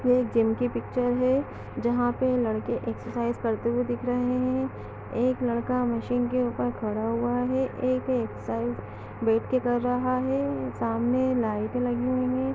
यह एक जिम की पिच्चर है जहां पे लड़के एक्सरसाइज करते हुए दिख रहें हैं। एक लड़का मशीन के ऊपर खड़ा हुआ है एक एक्सरसाइज बेठ के कर रहा है सामने लाइटे लगी हुई हैं।